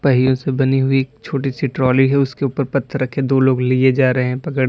पहियों से बनी हुई एक छोटी सी ट्राली है उसके ऊपर पत्थर रखे दो लोग लिए जा रहे पकड़े--